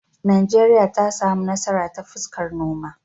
Najeriya ta samu nasara ta fuskar noma.